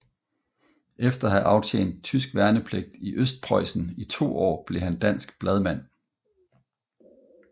Efter at have aftjent tysk værnepligt i Østprøjsen i to år blev han dansk bladmand